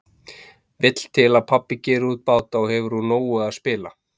Vill til að pabbi gerir út báta og hefur úr nógu að spila.